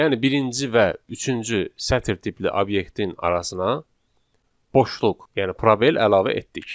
Yəni birinci və üçüncü sətr tipli obyektin arasına boşluq, yəni probel əlavə etdik.